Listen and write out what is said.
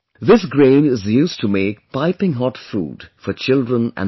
This grain is used to make piping hot food for children and women